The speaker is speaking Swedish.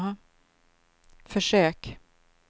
försök